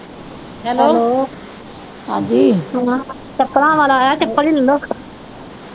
Hello ਹਾਂ ਚੱਪਲਾਂ ਵਾਲਾ ਆਇਆ ਚੱਪਲ ਈ ਲੈ ਲੋ।